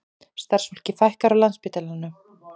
Starfsfólki fækkar á Landspítalanum